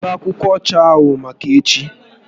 Debe akwụkwọ ọcha ahụ maka echi